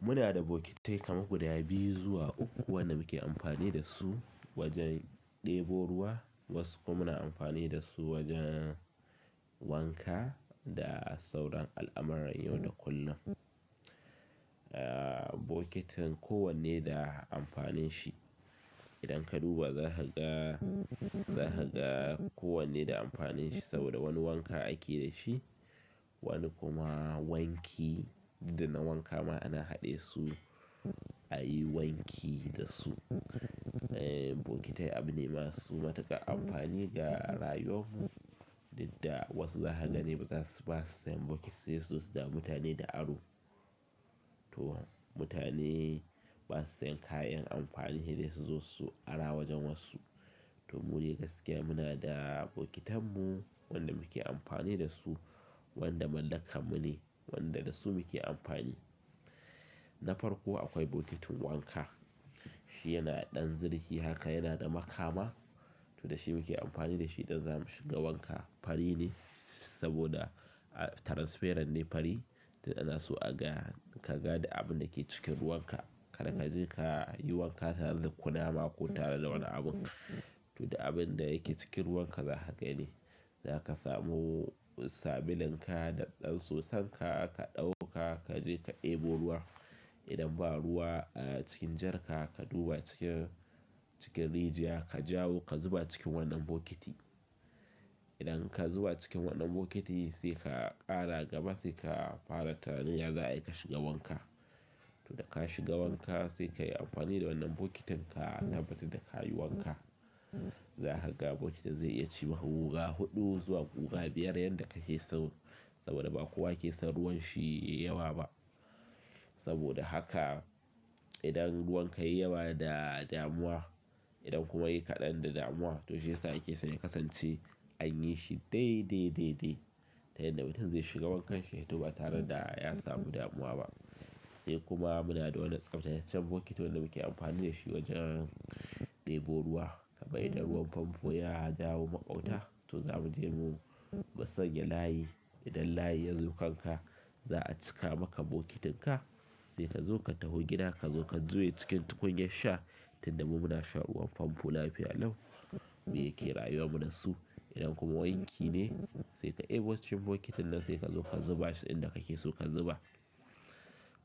Muna da bokitin kamu guda biyu zuwa uku wanda muke amfani da su wajen ɗebo ruwa. Wasu kuma muna amfani da su wajen wanka da sauran al'amarran yau da kullum. Eh, bokitin kowanne da amfanin shi. Idan ka duba za ka ga, za ka ga kowanne da amfanin shi saboda wani wanka ake da shi, wani kuma wanki da na wanka ma ana haɗe su, a yi wanki da su. Eh, bokitai abune masu matuƙa amfani ga rayuwar mu dukda wasu za ka gani bazas, basu sayan bokiti sai su zo su dame mutane da aro. To mutane basu sayan kayan amfani sai dai su zo su ara wajen wasu. To mu dai gaskiya muna da bokitanmu wanda muke amfani da su, wanda mallakan mu ne, wanda da su muke amfani. Na farko akwai bokitin wanka. Shi yana ɗan zirki haka yana da makama. To da shi muke amfani da shi idan za mu shiga wanka. Fari ne saboda, ah, transferan ne fari. To da na so a ga, ka ga da abin da yake cikin ruwan ka. Kada ka je ka yi wanka tare da kunama ko tare da wani abun. To da abin da yake cikin ruwan ka zaka gani. Zaka samu sabulun ka da ɗan soson ka, ka ɗauka kaje ka ɗebo ruwa. Idan ba ruwa, ah, cikin jarka ka duba cikin, cikin rijiya ka jawo ka zuba cikin wannan bokiti. Idan ka zuba cikin wannan bokiti sai ka ƙara gama sai ka fara tunanin za a yi ka shiga wanka. To da ka shiga wanka sai ka yi amfani da wannan bokitin ka tabbatar da ka yi wanka. Zaka ga bokitin zai iya ci ma guga huɗu zuwa guga biyar yanda kake so. Saboda ba kowa ke son ruwan shi yayi yawa ba. Saboda haka idan ruwan ka yayi yawa da damuwa, idan kuma yayi kaɗan da damuwa to shi ya sa yake son ya kasance anyi shi dai, dai, dai, dai. Ta yadda mutum zai shiga wankan shi to ba tare da ya samu damuwa ba. Sai kuma muna da wani tsaftataccen bokiti waɗanda muke amfani da shi wajan ɗebo ruwa kamai idan ruwan famfo ya dawo maƙauta to za mu je mu mu sanya layi. Idan layi ya zo kanka za a cika maka bokitin ka. Sai ka zo ka taho gidanka zo ka juye cikin tukunyar sha. Tunda mu muna sha ruwan famfo lafiya lau. Mu yake rayuwa mu da su. Idan kuma wanki ne sai ka ɗebo cikin bokitin nan sai ka zo ka zuba shi inda kake so ka zuba.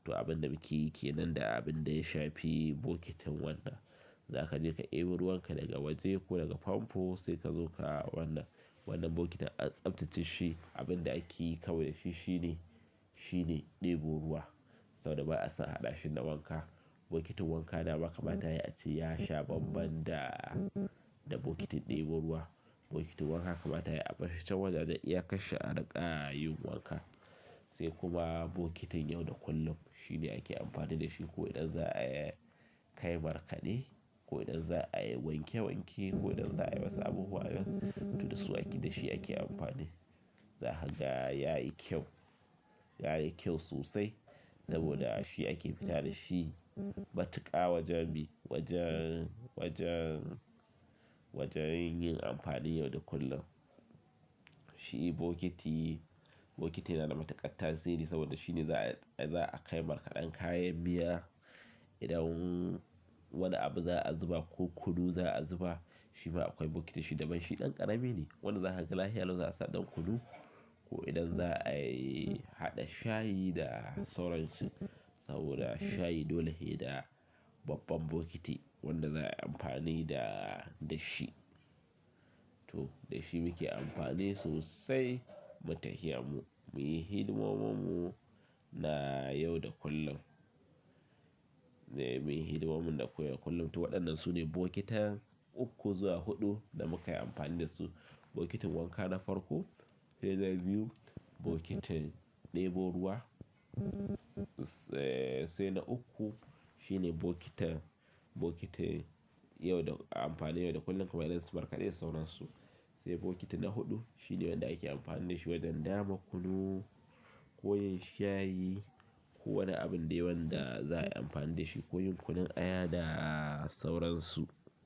To abin da muke yi ke nan da abin da ya shafi bokitin wannan. Zaka je ka ɗebo ruwan ka daga waje ko daga famfo sai ka zo ka wannan, wannan bokitin a tsaftace shi. Abin da ake yi kawai da shi shine, shine ɗebo ruwa. Saboda ba a son haɗashi na wanka. Bokitin wanka da ma kamata yayi a ce yashi baban da, da bokitin ɗebo ruwa. Bokitin wanka kamata yayi a ɓashi can wajan da iya kai shi a riƙa yin wanka. Sai kuma bokitin yau da kullum. Shi ne ake amfani da shi ko idan za a kai markaɗe, ko idan za a yi wanke wanki, ko idan za a yi wasu abubuwa. To da su ake da shi ake amfani. Za ka gan ya yi kyau, ya yi kyau sosai saboda shi ake fita da shi matuƙa wajen bi, wajen, wajen, wajen yin amfanin yau da kullum. Shi bokiti, bokiti yana da matuƙar tasiri saboda shine za a, za a kai markaɗan kayan miya. Idan wani abu za a zuba ko kunu za a zuba shi ma akwai bokiti shi daban. Shi ɗan ƙarami ne. Wanda za ka ga lahiya lau za a sa ɗan kunu. Ko idan za a yi haɗa shayi da sauransu. Saboda shayi dole yayi da babban bokiti wanda za ayi amfani da, da shi. To da shi muke amfani sosai. Don tahiya mu, mu yi hidimomun mu na yau da kullum. Eh, mu yi hidimomun da koya kullum. To waɗannan su ne bokitan uku zuwa huɗu da muka yi amfani da su. Bokitin wanka na farko, idan za mu yi bokitin ɗebo ruwa, se, sai na uku shine bokitin, bokitin yau da, amfani yau da kullum kamar na su markaɗe da sauransu. Sai bokiti na huɗu shine wanda ake amfani da shi wajen dama kunu ko yayi shayi ko wani abin dai wanda za a yi amfani da shi. Ko yin kunun aya da sauransu.